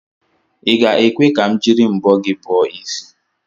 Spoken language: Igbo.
I ga-ekwe ka m jiri mbọ gị bọọ isi?